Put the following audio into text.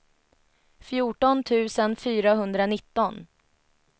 fjorton tusen fyrahundranitton